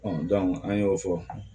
an y'o fɔ